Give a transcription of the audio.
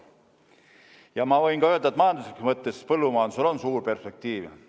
Ja ma võin öelda, et majanduslikus mõttes põllumajandusel on suur perspektiiv.